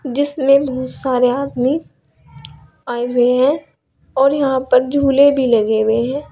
जिसमें बहुत सारे आदमी आए हुए हैं और यहां पर झूले भी लगे हुए हैं।